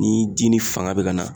Ni ji ni fanga be ka na